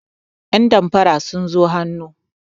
yandamfara sun zo hannu